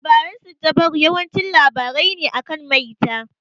Labaran siddabaru yawanci labarai ne akan maita.